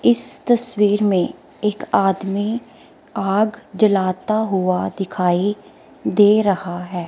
इस तस्वीर में एक आदमी आग जलाता हुआ दिखाई दे रहा है।